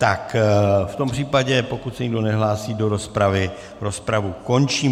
Tak v tom případě pokud se nikdo nehlásí do rozpravy, rozpravu končím.